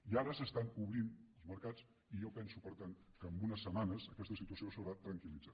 i ara s’estan obrint els mercats i jo penso per tant que en unes setmanes aquesta situació s’haurà tranquil·litzat